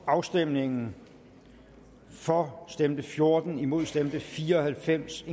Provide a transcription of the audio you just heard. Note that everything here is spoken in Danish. afstemningen for stemte fjorten imod stemte fire og halvfems